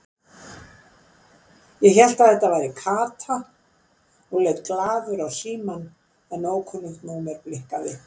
Ég hélt að þetta væri Kata og leit glaður á símann en ókunnugt númer blikkaði.